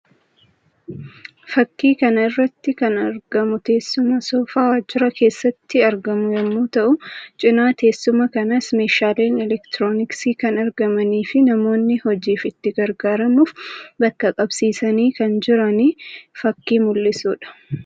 Fakkii kana irratti kan argamu teessuma soofaa waajjira keessatti argamu yammuu ta'u; cina teessuma kanaas meeshaaleen elektirooniksii kan argamanii fi namoonni hojiif itti gargaaramuuf bakka qabsiisanii kan jiranii fakkii mul'isuu dha.